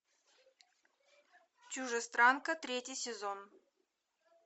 чужестранка третий сезон